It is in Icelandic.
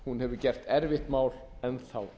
hún hefur gert erfitt mál enn þá